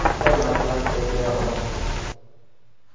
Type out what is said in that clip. Qanday motivatsiya bera olasiz?